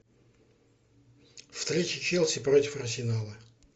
встреча челси против арсенала